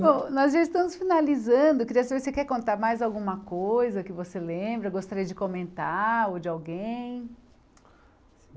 Bom, nós já estamos finalizando, queria saber se você quer contar mais alguma coisa que você lembra, gostaria de comentar ou de alguém.